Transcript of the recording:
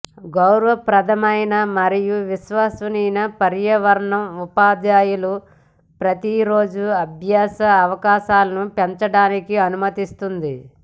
గౌరవప్రదమైన మరియు విశ్వసనీయ పర్యావరణం ఉపాధ్యాయులు ప్రతిరోజు అభ్యాస అవకాశాలను పెంచడానికి అనుమతిస్తుంది